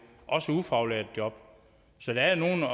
også ufaglærte job så der er nogle